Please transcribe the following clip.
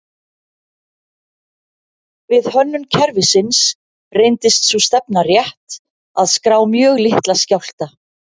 Við hönnun kerfisins reyndist sú stefna rétt að skrá mjög litla skjálfta.